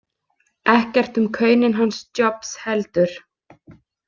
Ekkert um kaunin hans Jobs heldur.